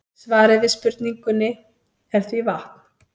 Svarið við spurningunni er því vatn.